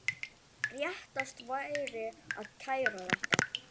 Réttast væri að kæra þetta.